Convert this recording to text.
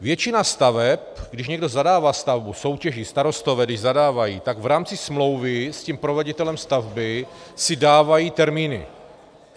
Většina staveb - když někdo zadává stavbu, soutěží, starostové když zadávají, tak v rámci smlouvy s tím proveditelem stavby si dávají termíny.